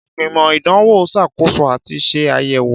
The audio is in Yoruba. Ìgbìmọ̀ Ìdánwò ń ṣàkóso àti ṣe àyẹ̀wò.